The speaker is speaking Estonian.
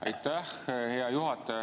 Aitäh, hea juhataja!